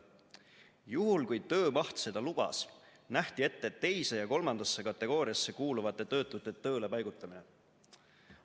Juhul kui töömaht seda lubas, nähti ette teise ja kolmandasse kategooriasse kuuluvate töötute tööle paigutamine.